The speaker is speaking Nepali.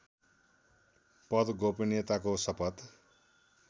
पद गोपनियताको शपथ